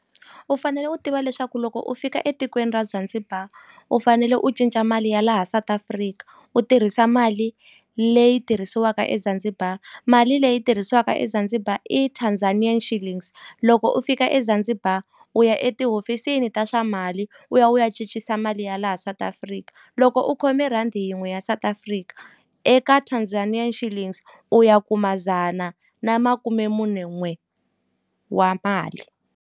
U fanele u tiva leswaku loko u fika etikweni ra Zanzibar u fanele u cinca mali ya laha South Africa u tirhisa mali leyi tirhisiwaka eZanzibar mali leyi tirhisiwaka eZanzibar i Tanzanian Shillings loko u fika eZanzibar u ya etihofisini ta swa mali u ya u ya cincisa mali ya laha South Africa loko u khome rhandi yin'we ya South Africa eka Tanzanian Shilling u ya ku dzana na makumemunen'we wa mali.